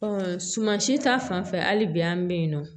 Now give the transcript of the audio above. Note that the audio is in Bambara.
suman si ta fanfɛ hali bi an be yen nɔ